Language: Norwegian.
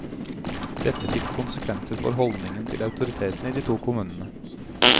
Dette fikk konsekvenser for holdningen til autoritetene i de to kommunene.